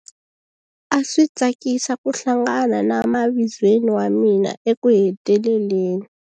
A swi tsakisa ku hlangana na mavizweni wa mina ekuheteleleni.